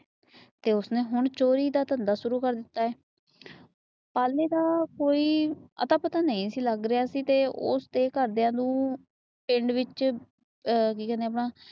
ਤੇ ਉਸਨੇ ਹੁਣ ਚੋਰੀ ਦਾ ਧੰਦਾ ਸ਼ੁਰੂ ਕਰ ਦਿੱਤਾ ਏ ਪਾਲੇ ਦਾ ਕੋਈ ਅਤਾ ਪਤਾ ਨਹੀਂ ਸੀ ਲੱਗ ਰਿਹਾ ਸੀ ਗਾ । ਤੇ ਉਸਦੇ ਘਰ ਦੀਆ ਨੂੰ ਪਿੰਡ ਵਿੱਚ ਕੀ ਕਹਿੰਦੇ ਇਹਨੂੰ